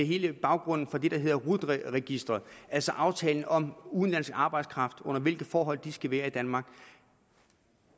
hele baggrunden for det der hedder rut registeret altså aftalen om udenlandsk arbejdskraft og under hvilke forhold de skal være i danmark